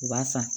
U b'a san